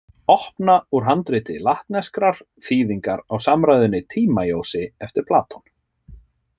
Opna úr handriti latneskrar þýðingar á samræðunni Tímæosi eftir Platon.